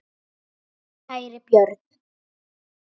Kæri Björn.